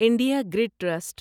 India Grid trust